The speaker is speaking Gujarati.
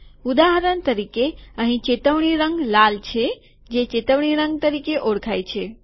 ઉદાહરણ તરીકે અહીં ચેતવણી રંગ લાલ છે જે ચેતવણી રંગ તરીકે ઓળખાય છે